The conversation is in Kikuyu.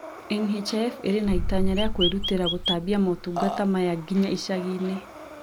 NHIF ĩrĩ na itanya rĩa kũĩrutĩra gũtambia motungata maya nginya icagi inĩ